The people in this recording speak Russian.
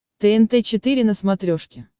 тнт четыре на смотрешке